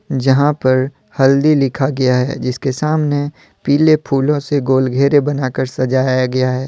जहां पर हल्दी लिखा गया है। जिसके सामने पीले फूलों से गोल घेरे बना कर सजाया गया है।